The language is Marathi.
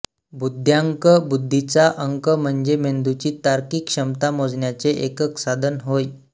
बुद्ध्यांक बुद्धीचा अंक म्हणजे मेंदूची तार्किक क्षमता मोजण्याचे एकक साधन होय